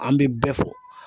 An bɛ bɛɛ fɔ